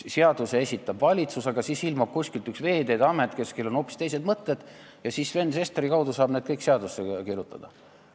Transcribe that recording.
Seaduseelnõu esitab valitsus, aga siis ilmub kuskilt Veeteede Amet, kellel on hoopis teised mõtted, ja Sven Sesteri abil saab need kõik seadusse kirjutada.